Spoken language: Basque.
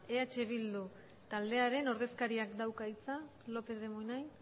eh bildu taldearen ordezkariak dauka hitza lópez de munain